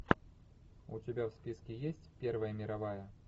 у тебя в списке есть первая мировая